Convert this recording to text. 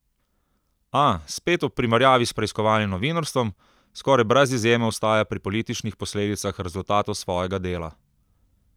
A, spet ob primerjavi s preiskovalnim novinarstvom, skoraj brez izjeme ostaja pri političnih posledicah rezultatov svojega dela.